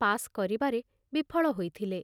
Pass କରିବାରେ ବିଫଳ ହୋଇଥିଲେ।